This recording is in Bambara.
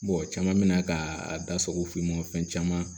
caman mina ka a da sago fin ma fɛn caman